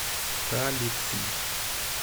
талицы